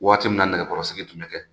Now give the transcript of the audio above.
Waati min na nɛgɛkɔrɔsigi tun bɛ kɛ.